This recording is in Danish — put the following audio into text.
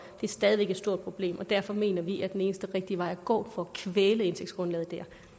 er stadig væk et stort problem og derfor mener vi at den eneste rigtige vej at gå for at kvæle indtægtsgrundlaget